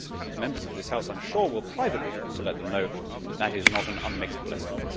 And, as Members of this House I am sure will privately be able to let them know, that is not an unmixed blessing.